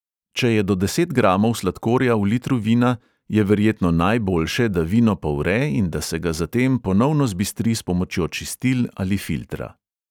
Če je do deset gramov sladkorja v litru vina, je verjetno najbojše, da vino povre in da se ga zatem ponovno zbistri s pomočjo čistil ali filtra.